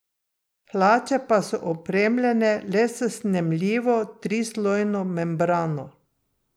Hlače pa so opremljene le s snemljivo trislojno membrano.